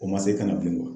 O ma se ka na bi